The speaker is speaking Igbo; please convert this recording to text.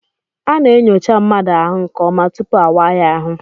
A na-enyocha mmadụ ahụ nke ọma tupu awaa ya ahụ.